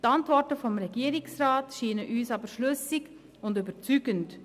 Die Antworten des Regierungsrats erscheinen uns jedoch schlüssig und überzeugend.